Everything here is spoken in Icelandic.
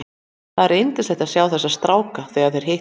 Það er yndislegt að sjá þessa stráka þegar þeir hittast.